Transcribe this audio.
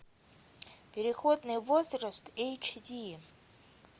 переходный возраст эйч ди